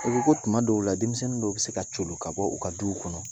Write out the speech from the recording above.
U ko ko tuma dɔw la denmisɛnnin dɔw bɛ se ka jpplo ka bɔ u ka duw kɔnɔ